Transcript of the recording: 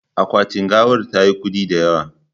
Akwati gawar tayi kudi da yawa